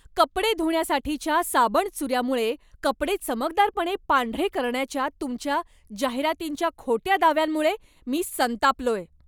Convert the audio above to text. कपडे धुण्यासाठीच्या साबणचुऱ्यामुळे कपडे चमकदारपणे पांढरे करण्याच्या तुमच्या जाहिरातींच्या खोट्या दाव्यांमुळे मी संतापलोय.